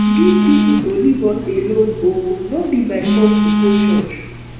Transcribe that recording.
dis people go leave us alone oo no be by force to go church